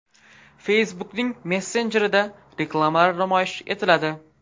Facebook’ning messenjerida reklamalar namoyish etiladi.